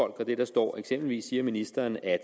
det der står eksempelvis siger ministeren at